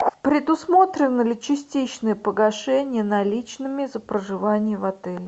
предусмотрено ли частичное погашение наличными за проживание в отеле